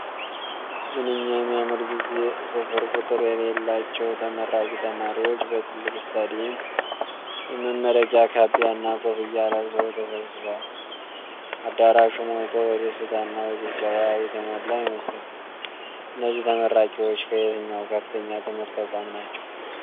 ምንኛ የሚያምር ጊዜ! ስፍር ቁጥር የሌላቸው ተመራቂ ተማሪዎች በትልቅ ስታዲየም የመመረቂያ ካባና ኮፍያ ለብሰው ተሰብስበዋል። አዳራሹ ሞልቶ በደስታና በጭብጨባ የተሞላ ይመስላል። እነዚህ ተመራቂዎች ከየትኛው ከፍተኛ ትምህርት ተቋም ናቸው?